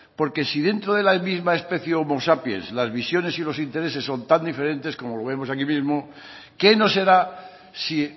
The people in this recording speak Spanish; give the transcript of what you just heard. porque si dentro de la misma especie homo sapiens las visiones y los intereses son tan diferentes como lo vemos aquí mismo qué no será si